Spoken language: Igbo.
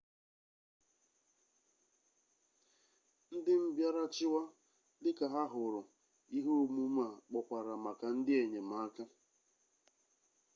ndị mbịarachịwa dịka ha hụrụ ihe omume a kpọkwara maka ndị enyemaka